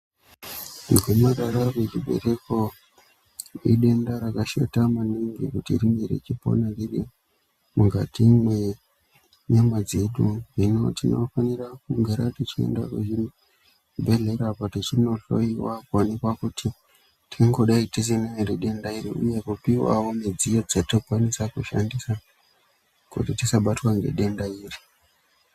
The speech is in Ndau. Gomarara rechibereko idenda rakashata meaningi kuti ringe richipona riri mukati mwenyama dzedu. Hino tinofanira kugara techienda kuzvibhehlera tichindohlowawo kuonekwa kuti tangadei tisina ere denda iri uye kupiwawo midziyo dzatinokwanisa kushandisa kuti tisabatwe nhedenda iri.